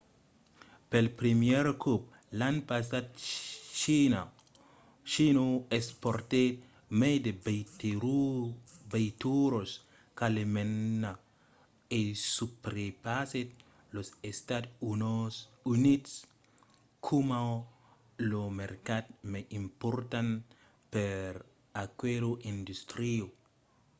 pel primièr còp l'an passat china exportèt mai de veituras qu’alemanha e subrepassèt los estats units coma lo mercat mai important per aquela industria